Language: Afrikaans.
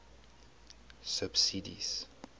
subsidies